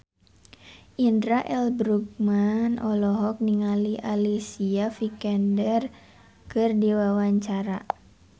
Indra L. Bruggman olohok ningali Alicia Vikander keur diwawancara